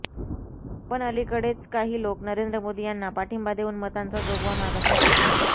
पण अलीकडेच काही लोकं नरेंद्र मोदी यांना पाठिंबा देऊन मतांचा जोगवा मागत आहे